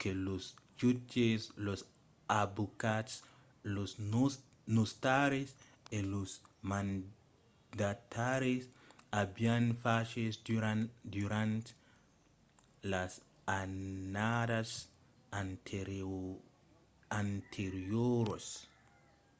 que los jutges los avocats los notaris e los mandataris avián faches durant las annadas anterioras